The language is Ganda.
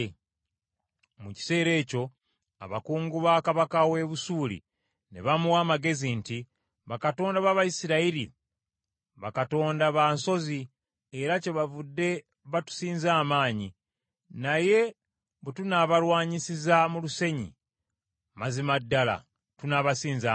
Mu kiseera ekyo, abakungu ba kabaka w’e Busuuli ne bamuwa amagezi nti, “Bakatonda b’Abayisirayiri bakatonda ba nsozi, era kyebavudde batusinza amaanyi. Naye bwe tunaabalwanyisizza mu lusenyi, mazima ddala tunaabasinza amaanyi.